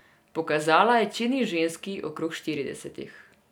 Pokazala je čedni ženski okrog štiridesetih.